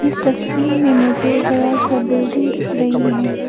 इस तस्वीर में मुझे बड़ा सा बिल्डिंग दिख रही है।